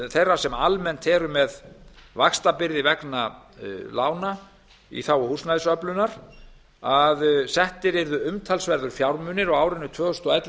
þeirra sem almennt eru með vaxtabyrði vegna lána í þágu húsnæðisöflunar að settir yrðu umtalsverðir fjármunir á árunum tvö þúsund og ellefu